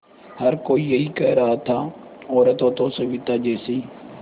हर कोई यही कह रहा था औरत हो तो सविताजी जैसी